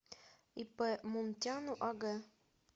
ип мунтяну аг